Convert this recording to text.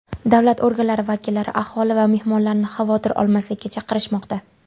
Davlat organlari vakillari aholi va mehmonlarni xavotir olmaslikka chaqirishmoqda.